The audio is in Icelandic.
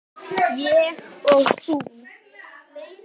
Ég og þú.